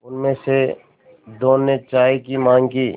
उनमें से दो ने चाय की माँग की